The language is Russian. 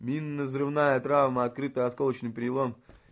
минно-взрывная травма открытый осколочный перелом